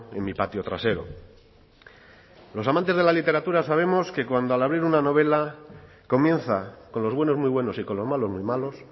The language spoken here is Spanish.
en mi patio trasero los amantes de la literatura sabemos que cuando al abrir una novela comienza con los buenos muy buenos y con los malos muy malos